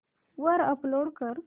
वर अपलोड कर